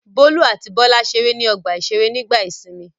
Bólú àti Bọ́lá ṣeré ní ọgbà-ìṣeré nígbà ìsìnmi?